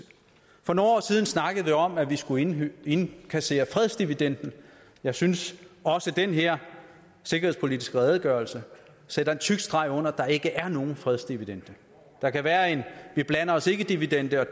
for nogle år siden snakkede vi om at vi skulle indkassere fredsdividenden jeg synes at også den her sikkerhedspolitiske redegørelse sætter en tyk streg under at der ikke er nogen fredsdividende der kan være en vi blander os ikke dividende og